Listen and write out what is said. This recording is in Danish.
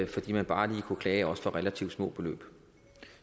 fordi man bare lige kunne klage også relativt små beløb